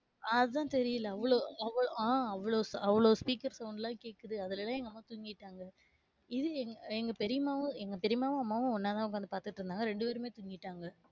ஆஹ் அதான் தெரியல. அவளோ, அவளோ ஆஹ் அவளோ அவளோ speaker sound லகேக்குது, அதுலெல்லாம் எங்க அம்மா தூங்கிட்டாங்க, இது எங்க எர் பெரியம்மாவும், எங்க பெரியம்மாவும் அம்மாவும் ஒன்னாதான் உக்காந்து பாத்துட்டு இருந்தாங்க ரெண்டு பேருமே தூங்கிட்டாங்க.